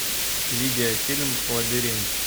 видеофильм лабиринт